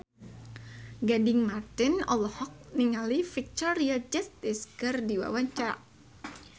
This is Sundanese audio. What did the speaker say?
Gading Marten olohok ningali Victoria Justice keur diwawancara